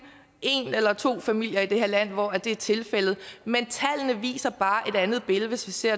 en eller to familier i det her land hvor det er tilfældet men tallene viser bare et andet billede hvis vi ser